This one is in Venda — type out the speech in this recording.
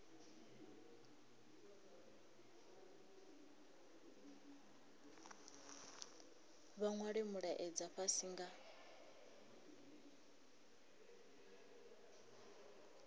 vha nwale mulaedza fhasi nga